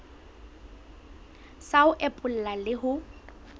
sa ho epolla le ho